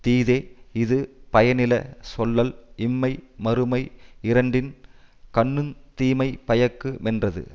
தீதே இது பயனில சொல்லல் இம்மை மறுமை யிரண்டின் கண்ணுந் தீமை பயக்கு மென்றது